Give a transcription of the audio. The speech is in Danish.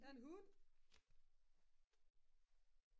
der er en hund